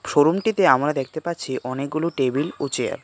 শোরুমটিতে আমরা দেখতে পাচ্ছি অনেকগুলি টেবিল ও চেয়ার .